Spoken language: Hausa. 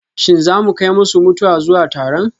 Shin za mu kai masu mutuwa zuwa taron?